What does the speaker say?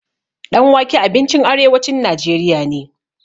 Ɗan wake abincin arewacin najeriya ne.